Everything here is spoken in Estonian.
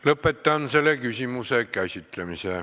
Lõpetan selle küsimuse käsitlemise.